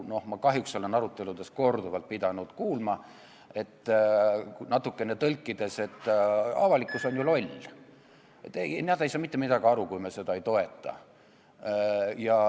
Ma kahjuks olen aruteludes korduvalt pidanud kuulma suhtumist, et – ma natukene tõlgin – avalikkus on ju loll, nad ei saa mitte midagi aru, kui me seda ei toeta.